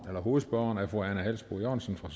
hovedspørgeren er fru ane halsboe jørgensen fra